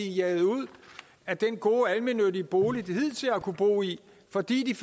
jaget ud af den gode almennyttige bolig de hidtil har kunnet bo i fordi de